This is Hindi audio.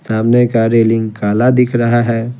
सामने का रेलिंग काला दिख रहा है।